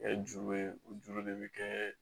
Ɛɛ juru de bɛ kɛ